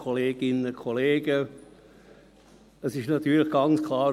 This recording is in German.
Es ist natürlich ganz klar: